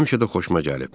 Həmişə də xoşuma gəlib.